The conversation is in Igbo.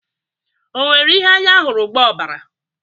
O nwere ihe anya hụrụ gba ọbara?